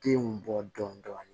Denw bɔ dɔɔn dɔɔni